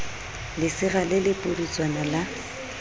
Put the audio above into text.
lesira le le pudutswana la